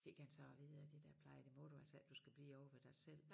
Fik han så at vide af de der plejere det må du altså ikke du skal blive ovre ved dig selv